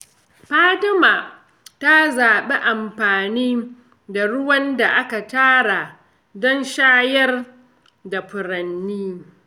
Fatima ta zaɓi amfani da ruwan da aka tara don shayar da furanni.